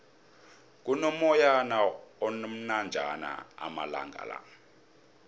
kuno moyana omnanjana amalangala